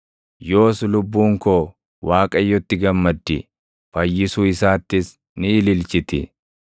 Yoos lubbuun ko, Waaqayyotti gammaddi; fayyisuu isaattis ni ililchiti.